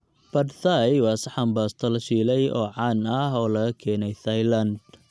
Pad Thai waa saxan baasto la shiilay oo caan ah oo laga keenay Thailand.